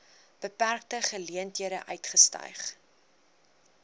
beperkte geleenthede uitgestyg